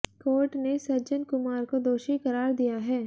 court ने सज्जन कुमार को दोषी करार दिया है